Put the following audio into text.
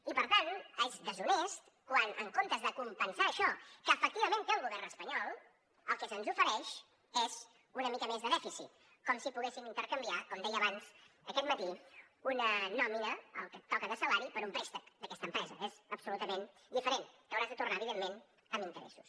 i per tant és deshonest quan en comptes de compensar això que efectivament té el govern espanyol el que se’ns ofereix és una mica més de dèficit com si poguéssim intercanviar com deia abans aquest matí una nòmina el que et toca de salari per un préstec d’aquesta empresa és absolutament diferent que hauràs de tornar evidentment amb interessos